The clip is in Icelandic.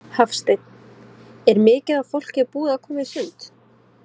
Hafsteinn: Er mikið af fólki búið að koma í sund?